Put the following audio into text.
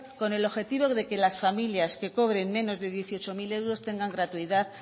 con el objetivo de que las familias que cobren menos de dieciocho mil euros tengan gratuidad